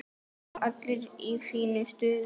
Og allir í fínu stuði.